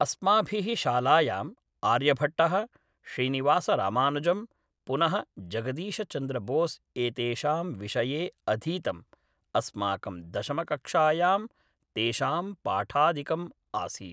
अस्माभिः शालायाम् आर्यभट्टः श्रीनिवासरामानुजं पुनः जगदीशचंद्र बोस् एतेषां विषये अधीतम् अस्माकं दशमकक्षायां तेषां पाठादिकम् आसीत्